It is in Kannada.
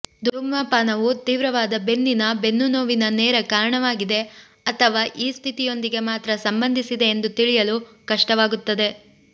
ಧೂಮಪಾನವು ತೀವ್ರವಾದ ಬೆನ್ನಿನ ಬೆನ್ನುನೋವಿನ ನೇರ ಕಾರಣವಾಗಿದೆ ಅಥವಾ ಈ ಸ್ಥಿತಿಯೊಂದಿಗೆ ಮಾತ್ರ ಸಂಬಂಧಿಸಿದೆ ಎಂದು ತಿಳಿಯಲು ಕಷ್ಟವಾಗುತ್ತದೆ